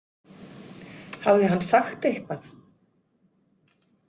Hafði hann sagt eitthvað?